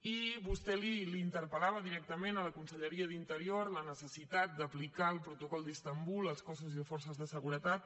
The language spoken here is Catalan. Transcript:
i vostè interpel·lava directament la conselleria d’interior per la necessitat d’aplicar el protocol d’istanbul als cossos i forces de seguretat